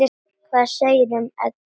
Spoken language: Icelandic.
Hvað segirðu um hann, Edda?